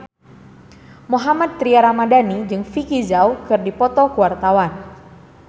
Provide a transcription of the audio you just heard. Mohammad Tria Ramadhani jeung Vicki Zao keur dipoto ku wartawan